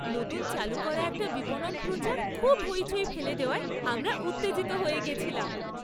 নতুন চালু করা একটা বিপণন প্রচার খুব হইচই ফেলে দেওয়ায় আমরা উত্তেজিত হয়ে গেছিলাম।